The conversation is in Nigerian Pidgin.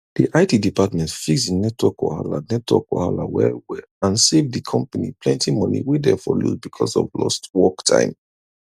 the it department fix the network wahala network wahala wellwell and save the company plenty money wey dem for lose because of lost work time